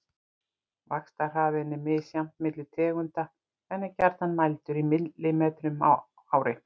vaxtarhraðinn er misjafn milli tegunda en er gjarnan mældur í millimetrum á ári